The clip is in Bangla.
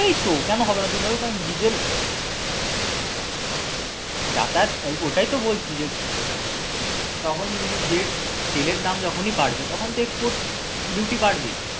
এই তো কেন হবেনা তুই বল ডিজেল যাতায়াত হ্যাঁ ওটাই তো বলছি এই যে হ্যাঁ তখন তুমি যে তেলের দাম যখনই বাড়বে তখন তো export duty বাড়বেই